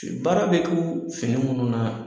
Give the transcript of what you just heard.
Baara bɛ k'o fini minnu na